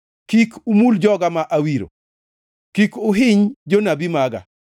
“Kik umul joga ma awiro; kik uhiny jonabi maga.”